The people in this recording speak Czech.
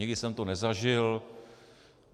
Nikdy jsem to nezažil.